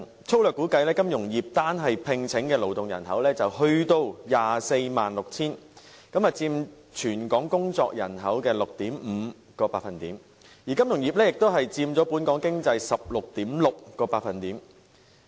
粗略估計，金融業在2015年聘請的勞動人口已達 246,000 人，佔全港工作人口 6.5%， 而金融業亦佔本港經濟 16.6%。